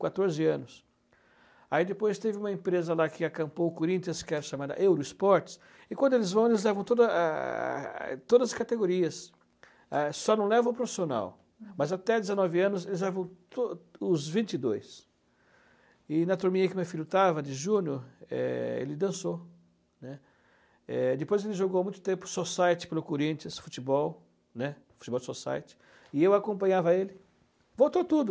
com quatorze anos aí depois teve uma empresa lá que acampou o Corinthians que era chamada Eurosports e quando eles vão eles levam todas a a a todas as categorias só não levam o profissional mas até dezenove anos eles levam tod os vinte e dois e na turminha que meu filho estava de junior é ele dançou né, é depois é ele jogou muito tempo o Society pelo Corinthians futebol e eu acompanhava ele voltou tudo